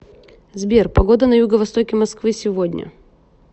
сбер погода на юго востоке москвы сегодня